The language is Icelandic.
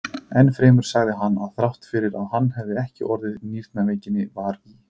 Enn fremur sagði hann, að þrátt fyrir að hann hefði ekki orðið nýrnaveikinnar var í